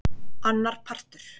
Annar partur.